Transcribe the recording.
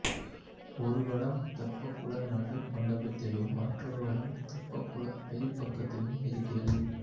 ஒரு வடம் தெப்பக்குள நடுமண்டபத்திலும் மற்றொரு வடம் தெப்பக்குள வெளிப் பக்கத்திலும் இருக்கிறது